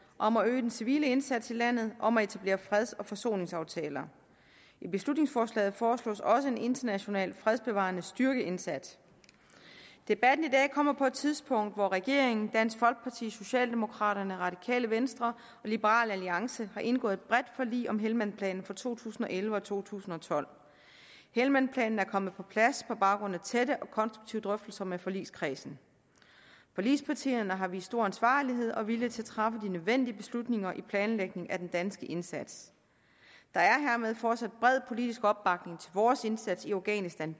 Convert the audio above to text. om at øge den civile indsats i landet om at etablere freds og forsoningsaftaler i beslutningsforslaget foreslås også en international fredsbevarende styrkeindsats debatten i dag kommer på et tidspunkt hvor regeringen dansk folkeparti socialdemokraterne radikale venstre og liberal alliance har indgået et bredt forlig om helmandplanen for to tusind og elleve og to tusind og tolv helmandplanen er kommet på plads på baggrund af tætte og konstruktive drøftelser med forligskredsen forligspartierne har vist stor ansvarlighed og vilje til at træffe de nødvendige beslutninger i planlægningen af den danske indsats der er hermed fortsat bred politisk opbakning til vores indsats i afghanistan